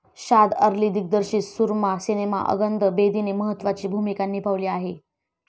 शाद अली दिग्दर्शित सूरमा सिनेमा अंगद बेदीने महत्त्वाची भूमिका निभावली आहे.